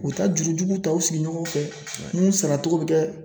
U be taa jurujuguw ta u sigi ɲɔgɔnw fɛ mun saratogo be kɛ